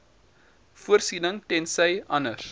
voorsiening tensy anders